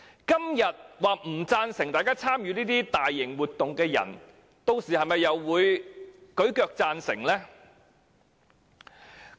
今天說不贊成參與這些大型活動的人，屆時又會否舉腳贊成呢？